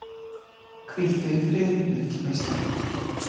Hvíldu í friði mikli meistari!